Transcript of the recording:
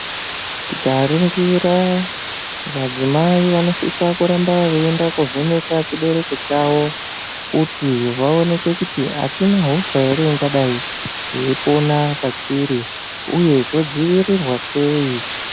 Tikaringira madzimai vanosise kuramba veienda koovhenekwa chibereko chavo kuonekwa kuti achina hosha ere ingadayi yeipona pachiri uye zvodzivirirwa sei.